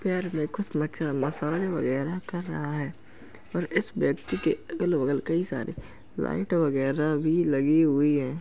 पैर में कुछ मछा मसाज वगैरा कर रहा है और इस व्यक्ति के अगल बगल कई सारी लाइट वगैरा भी लगी हुई है।